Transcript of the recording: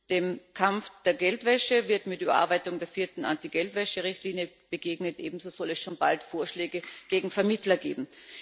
Dem Kampf gegen Geldwäsche wird mit Überarbeitung der vierten Geldwäscherichtlinie begegnet. Ebenso soll es schon bald Vorschläge gegen Vermittler geben.